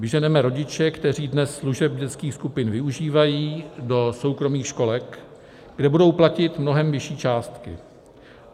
Vyženeme rodiče, kteří dnes služeb dětských skupin využívají, do soukromých školek, kde budou platit mnohem vyšší částky.